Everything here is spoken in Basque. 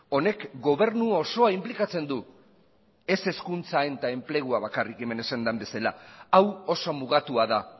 honek gobernu osoa inplikatzen du ez hezkuntza eta enplegua bakarrik hemen esan den bezala hau oso mugatua da